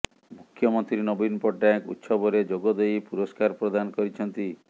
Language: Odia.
ମୁଖ୍ୟମନ୍ତ୍ରୀ ନବୀନ ପଟ୍ଟନାୟକ ଉତ୍ସବରେ ଯୋଗଦେଇ ପୁରସ୍କାର ପ୍ରଦାନ କରିଛନ୍ତି